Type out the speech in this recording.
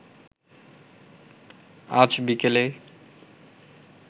আজ বিকেলে